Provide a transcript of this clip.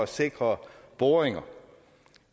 sikre boringer